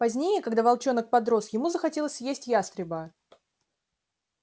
позднее когда волчонок подрос ему захотелось съесть ястреба